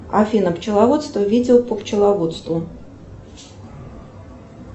афина пчеловодство видео по пчеловодству